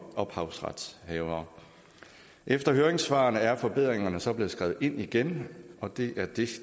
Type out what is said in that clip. ophavsretshavere efter høringssvarene er forbedringerne så blevet skrevet ind igen og det